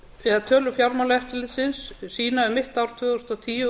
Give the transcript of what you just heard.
þegar tölur fjármálaeftirlitsins sýna um mitt ár tvö þúsund og tíu